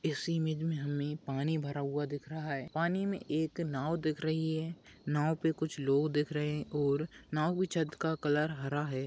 इसी इमेज में हमें पानी भरा हुआ दिख रहा है पानी में एक नाव दिख रही है नाव पे कुछ लोग दिख रहे हैं और नाव की छत का कलर हरा है।